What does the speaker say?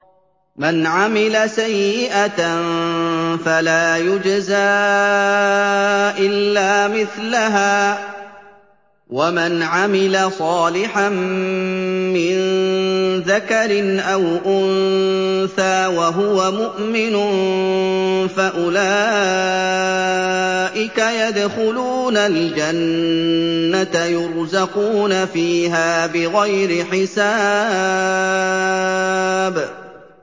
مَنْ عَمِلَ سَيِّئَةً فَلَا يُجْزَىٰ إِلَّا مِثْلَهَا ۖ وَمَنْ عَمِلَ صَالِحًا مِّن ذَكَرٍ أَوْ أُنثَىٰ وَهُوَ مُؤْمِنٌ فَأُولَٰئِكَ يَدْخُلُونَ الْجَنَّةَ يُرْزَقُونَ فِيهَا بِغَيْرِ حِسَابٍ